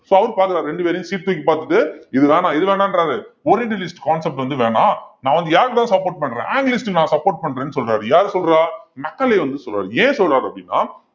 so அவரு பாக்கறாரு ரெண்டு பேரையும் தூக்கி பாத்துட்டு இது வேணாம் இது வேணான்றாரு concept வந்து வேணாம் நான் வந்து யாருக்குதான் support பண்றேன் anglist க்கு நான் support பண்றேன்னு சொல்றாரு யார் சொல்றா மெக்காலே வந்து சொல்றாரு ஏன் சொல்றாரு அப்படின்னா